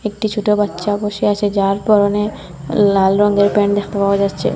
একটি ছোটো বাচ্চা বসে আছে যার পরনে লাল রঙের প্যান্ট দেখতে পাওয়া যাচ্ছে।